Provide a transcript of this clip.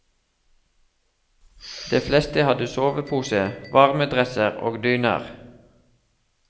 De fleste hadde sovepose, varmedresser og dyner.